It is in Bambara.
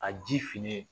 A ji fililen